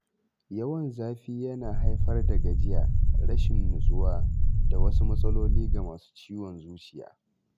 Yawan zafi yana haifar da gajiya, rashin nutsuwa, da wasu matsaloli ga masu ciwon zuciya.